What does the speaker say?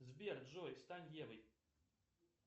сбер джой стань евой